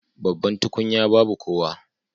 Babban tukunya babu kowa